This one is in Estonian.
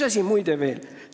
Muide, üks asi veel.